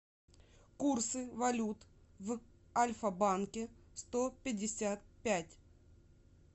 курсы валют в альфа банке сто пятьдесят пять